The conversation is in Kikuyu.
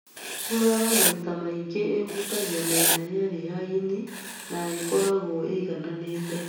Nguraro maita maingĩ ĩhutagia mĩena yerĩ ya ini na ĩkoragwo ĩigananĩte